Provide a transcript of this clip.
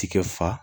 Tigɛ fa